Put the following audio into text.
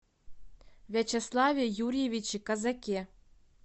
вячеславе юрьевиче козаке